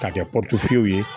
K'a kɛ fiyɛli ye